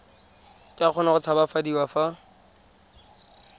ka kgona go tshabafadiwa fa